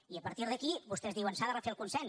i a partir d’aquí vostès diuen s’ha de refer el consens